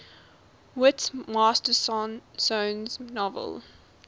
whit masterson's novel